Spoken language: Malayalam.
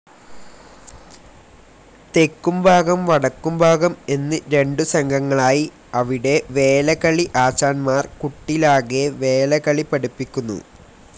തെക്കും ഭാഗം വടക്കും ഭാഗം എന്ന് രണ്ടു സംഘങ്ങളായി അവിടെ വേലകളി ആശാന്മാർ കുട്ടിലാകെ വേലകളി പഠിപ്പിക്കുന്നു.